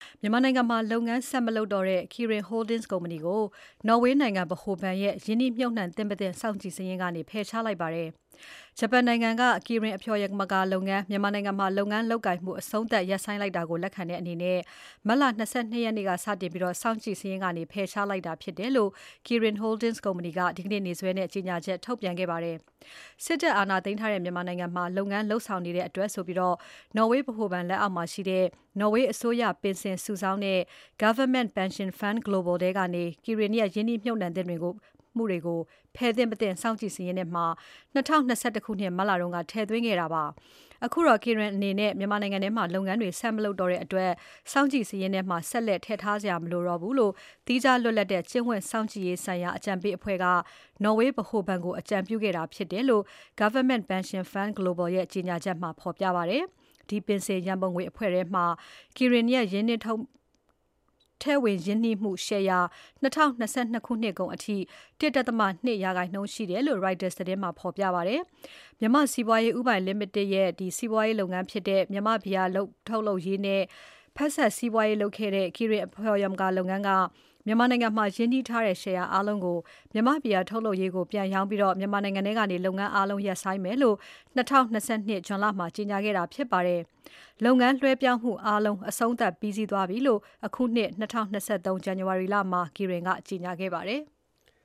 မြန်မာနိုင်ငံမှာ လုပ်ငန်းဆက်မလုပ်တော့တဲ့ Kirin Holdings ကုမ္ပဏီကို နော်ဝေးနိုင်ငံ ဗဟိုဘဏ်ရဲ့ ရင်းနှီးမြှပ်နှံသင့် မသင့် စောင့်ကြည့်စာရင်းထဲကနေ ဖယ်ရှားလိုက်ပါတယ်။ ဂျပန်နိုင်ငံက Kirin အဖျော်ယာမကာလုပ်ငန်း မြန်မာနိုင်ငံမှာ လုပ်ငန်းလုပ်ကိုင်မှု အပြီးသတ်ရပ်ဆိုင်းလိုက်တာကို လက်ခံတဲ့အနေနဲ့ မတ်လ ၂၂ ရက်နေ့ကစတင်ပြီး စောင့်ကြည့်စာရင်းကနေ ဖယ်ရှားပေးလိုက်တာဖြစ်တယ်လို့ Kirin Holdings ကုမ္ပဏီက ဒီနေ့နေ့စွဲနဲ့ ကြေညာချက် ထုတ်ပြန်ခဲ့ပါတယ်။ စစ်တပ်အာဏာသိမ်းထားတဲ့ မြန်မာနိုင်ငံမှာ လုပ်ငန်းလုပ်ဆောင်နေတဲ့အတွက်ဆိုပြီး နော်ဝေးဗဟိုဘဏ်လက်အောက်မှာရှိတဲ့ နော်ဝေးအစိုးရ ပင်စင်စုဆောင်းတဲ့ Government Pension Fund Global ထဲကနေ Kirin ရဲ့ ရင်းနှီးမြှပ်နှံမှုတွေကို ဖယ်သင့် မသင့် စောင့်ကြည့်စာရင်းထဲမှာ ၂၀၂၁ ခုနှစ် မတ်လက ထည့်သွင်းခဲ့တာပါ။ အခုတော့ Kirin အနေနဲ့ မြန်မာနိုင်ငံထဲမှာ လုပ်ငန်းတွေ ဆက်မလုပ်တော့တဲ့ အတွက် စောင့်ကြည့်စာရင်းထဲမှာ ဆက်လက် ထည့်ထားစရာမလိုတော့ဘူးလို့ သီးခြားလွတ်လပ်တဲ့ ကျင့်ဝတ်စောင့်ကြည့်ရေးဆိုင်ရာအကြံပေးအဖွဲ့က နော်ဝေးဗဟိုဘဏ်ကို အကြံပြုခဲ့တာဖြစ်တယ်လို့ Government Pension Fund Global ရဲ့ ကြေညာချက်မှာ ဖော်ပြပါတယ်။ ဒီပင်စင်ရန်ပုံငွေအဖွဲ့ထဲမှာ Kirin ရဲ့ ထည့်ဝင်ရင်းနှီးမှု ရှယ်ယာ ၂၀၂၂ ခုနှစ်ကုန်အထိ ၁.၂၂% ရှိတယ်လို့ Reuters သတင်းမှာဖော်ပြပါတယ်။ မြန်မာ့စီးပွားရေး ဦးပိုင်ကုမ္ပဏီ လိမိတက်ရဲ့ စီးပွားရေးလုပ်ငန်းဖြစ်တဲ့ မြန်မာ့ဘီယာထုတ်လုပ်ရေးနဲ့ ဖက်စပ်စီးပွားရေးလုပ်ခဲ့တဲ့ Kirin အဖျော်ယာမကာလုပ်ငန်းက မြန်မာနိုင်ငံမှာရင်းနှီးထားတဲ့ ရှယ်ယာအားလုံးကို မြန်မာ့ဘီယာထုတ်လုပ်ရေးကို ပြန်ရောင်းပြီး မြန်မာနိုင်ငံထဲက လုပ်ငန်းအားလုံး ရပ်ဆိုင်းမယ်လို့ ၂၀၂၂ ခုနှစ် ဇွန်လမှာ ကြေညာခဲ့တာဖြစ်ပါတယ်။ လုပ်ငန်းလွှဲပြောင်းမှုအားလုံး အဆုံးသတ်ပြီးစီးသွားပြီလို့ အခုနှစ် ၂၀၂၃ ဇန်နဝါရီလမှာ Kirin က ကြေညာခဲ့ပါတယ်။